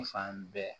N fan bɛɛ